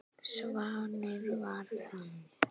Svanur var þannig.